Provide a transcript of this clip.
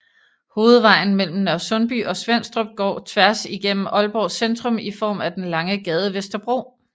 Hovedvejen mellem Nørresundby og Svenstrup går tværs igennem Aalborgs centrum i form af den lange gade Vesterbro